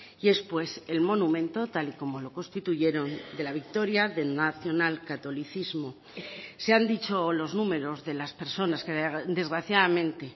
y es pues el monumento tal y como lo constituyeron de la victoria del nacional catolicismo se han dicho los números de las personas que desgraciadamente